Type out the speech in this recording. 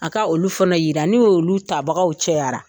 A ka olu fana yira ni olu tabagaw cayara.